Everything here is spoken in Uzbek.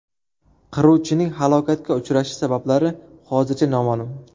Qiruvchining halokatga uchrashi sabablari hozircha noma’lum.